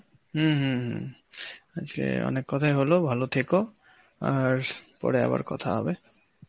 উম হম হম আজকে অনেক কথাই হল, ভালো থেকো আর পরে আবার কথা হবে.